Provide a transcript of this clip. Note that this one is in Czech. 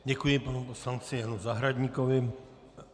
Děkuji panu poslanci Janu Zahradníkovi.